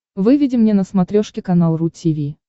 выведи мне на смотрешке канал ру ти ви